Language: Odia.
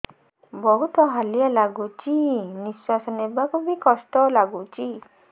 ବହୁତ୍ ହାଲିଆ ଲାଗୁଚି ନିଃଶ୍ବାସ ନେବାକୁ ଵି କଷ୍ଟ ଲାଗୁଚି